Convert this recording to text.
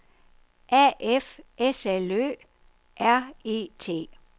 A F S L Ø R E T